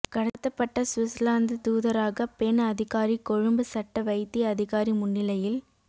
கடத்தப்பட்ட சுவிஸ்லாந்து தூதரக பெண் அதிகாரி கொழும்பு சட்ட வைத்திய அதிகாரி முன்னிலையில்